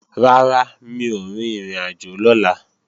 Rárá, mi ò rin ìrìnàjò lọ́la